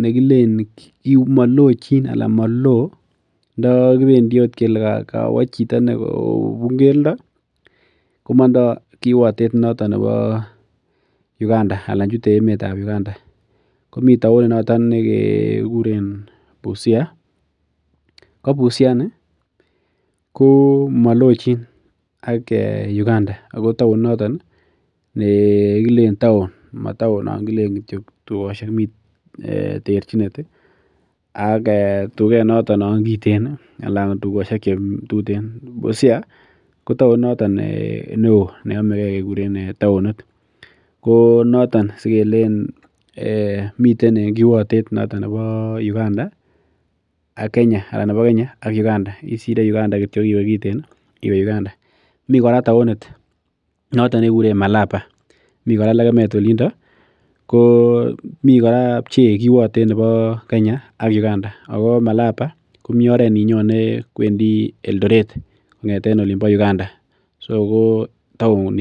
makilen kikochin anan ndamando akot chito kobun keldo komandat kochute Uganda anan chete emeetab Uganda. Komi taonit noto nekikuren busia ko busia ini, ko malochin ak Uganda. Ako taonit nito ko taon nekilenen taon , mi tuyosiek ih ak tuget noton nekiten ih ak tugoshek chekiten. Busia ko taonit noto neoo, neame kekuren taonit, ko noton sikeeleen miten en kiwatet noton neboo Uganda ih ak Kenya anan nebo Kenya ak Uganda. Kisire Uganda kityo akiwe kiten ih akiwe Uganda. Mi kora taonit nekikuren malaba, miten kora bchee en kiwatet nebo Kenya ak malaba, nyone en oret nimbo Eldoret, so kotaonisiek cheechen chon.